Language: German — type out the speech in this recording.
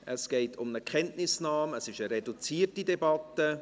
Es geht um eine Kenntnisnahme, es handelt sich um eine reduzierte Debatte.